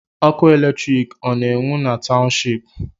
Ọkụ electriki ọ na-enwe na township?